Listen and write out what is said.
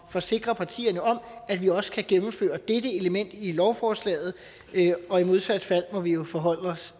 forsikre partierne om at vi også kan gennemføre dette element i lovforslaget og i modsat fald må vi jo forholde os